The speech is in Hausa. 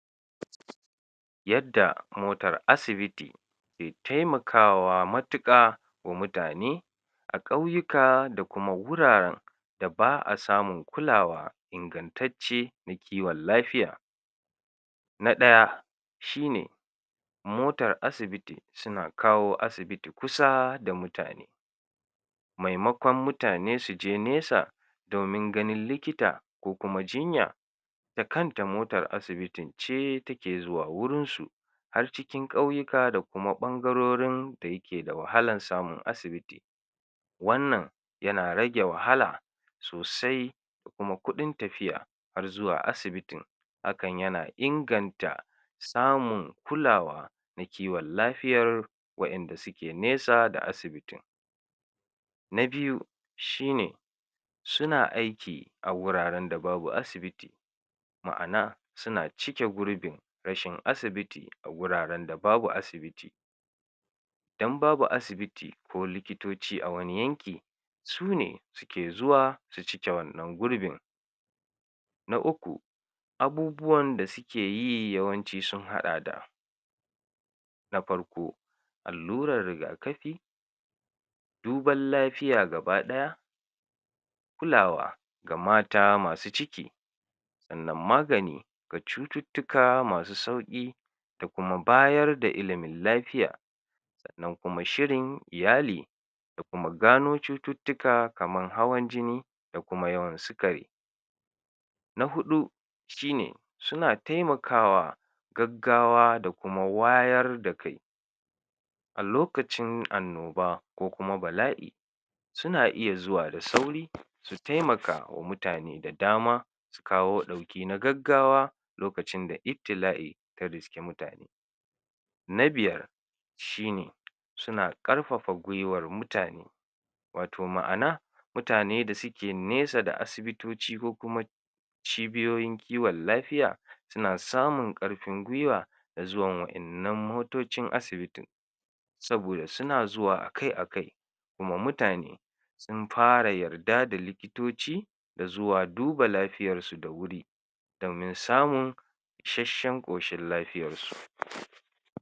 Yadda motar asibiti ke taimakawa matiƙa wa mutane a ƙauyuka da kuma wuraran da ba'a samun kulawa ingantacce na kiwon lafiya. Na ɗaya: Shine: Motar asibiti sina kawo asibiti kusa da mutane maimakon mutane sije nesa domin ganin likita ko kuma jinya da kanta motar asibitin ce take zuwa wurinsu har cikin ƙauyika da kuma ɓangarorin da yake da wahalan samun asibiti, wannan yana rage wahala sosai da kuma kuɗin tafiya har zuwa asibitin, hakan yana inganta samun kulawa na kiwon lafiyar waƴanda sike nesa da asibitin. Na biyu shine: Sina aiki a wuraren da babu asibiti ma'ana sina cike gurbin rashin asibiti a wuraren da babu asibiti, dan babu asibiti ko likitoci a wani yanki sune sike zuwa si cike wannan gurbin. Na uku: Abubuwanda sike yi yawanci sun haɗa da: Na farko: Alllurar riga-kafi, duban lafiya gaba ɗaya, kulawa ga mata masu ciki, sannan magani ga cututtuka masu sauƙi, da kuma bayarda ilimin lafiya, sannan kuma shirin iyali, da kuma gano cututtuka kaman hawan jini, da kuma yawan sikari. Na huɗu: shine suna taimakawa gaggawa da kuma wayar da kai a lokacin annoba ko kuma bala'i, suna iya zuwa da sauri su taimakawa mutane da dama su kawo ɗauki na gaggawa lokacin da ibtila'i ta riski mutane. Na biyar: Shine: suna ƙarfafa gwiwar mutane wato ma'ana mutane da sike nesa da asibitici ko kuma cibiyoyin kiwon lafiya sina samun ƙarffin gwiwa da zuwan wa'innan motocin asibitin, saboda sina zuwa akai akai, kuma mutane sin fara yarda da likitoci da zuwa duba lafiyarsu da wuri domin samun isheshshen ƙoshin lafiyarsu.